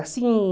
É, assim...